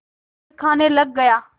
फिर खाने लग गया